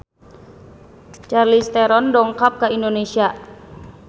Charlize Theron dongkap ka Indonesia